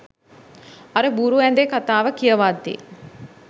අර බූරු ඇදේ කතාව කියවද්දි